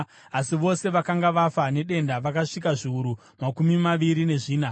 asi vose vakanga vafa nedenda vakasvika zviuru makumi maviri nezvina.